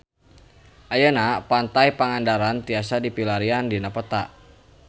Ayeuna Pantai Pangandaran tiasa dipilarian dina peta